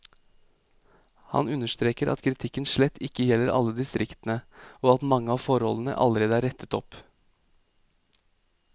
Han understreker at kritikken slett ikke gjelder alle distriktene, og at mange av forholdene allerede er rettet opp.